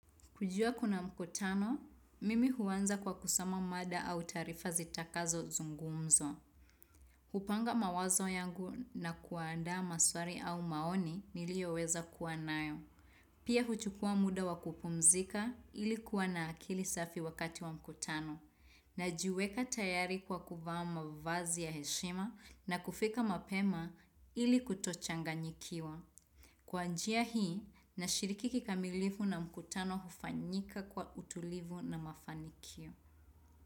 Kujua kuna mkutano, mimi huanza kwa kusoma mada au taarifa zitakazo zungumzwa. Hupanga mawazo yangu na kuandaa maswali au maoni niliyoweza kuwa nayo. Pia huchukua muda wa kupumzika ili kuwa na akili safi wakati wa mkutano. Najiweka tayari kwa kuvaa vazi ya heshima na kufika mapema ili kutochanganyikiwa. Kwa njia hii, nashiriki kikamilivu na mkutano hufanyika kwa utulivu na mafanikio.